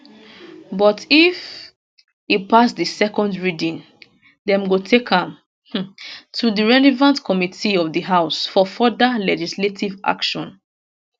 but if e pass di second reading dem go take am um to di relevant committee of di house for further legislative action